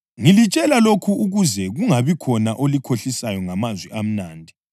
Ngilitshela lokhu ukuze kungabikhona olikhohlisayo ngamazwi amnandi.